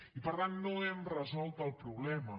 i per tant no hem resolt el problema